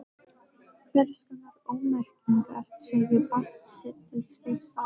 Hvers konar ómerkingar segja barn sitt til sveitar?